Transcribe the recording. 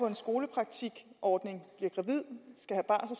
en skolepraktikordning